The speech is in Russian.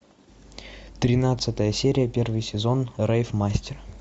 тринадцатая серия первый сезон рейв мастер